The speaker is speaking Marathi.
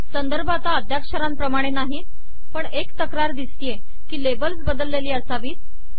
संदर्भ आता अद्द्याक्षराणप्रमाणे नाही पण एक तक्रार दिसतीये कि लेबल्स बदललेली असावीत